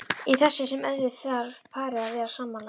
Í þessu sem öðru þarf parið að vera sammála.